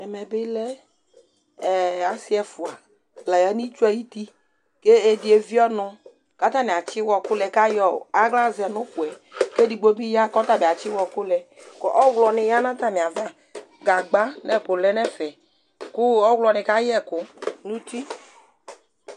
Ɛmɛ bɩ lɛ ee, asɩ ɛfʋa la ya nitsu ayʋti, kɛdɩ evie ɔnʋ ,katanɩ atsɩ ɩwɔkʋ lɛ kayɔ aɣla zɛ nʋkʋɛKedigbo bɩ ya kɔta bɩ atsɩ ɩwɔkʋ lɛKʋ ɔɣlɔ nɩ ya natamɩ ava, gagba nɛkʋ lɛ nɛfɛ ,kʋ ɔɣlɔ nɩ ka yɛkʋ nuti